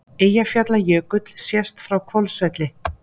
Eyjafjallajökull sést frá Hvolsvelli.